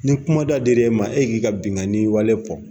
Ni kumada dira e ma e k'i ka binnkanni wale fɔ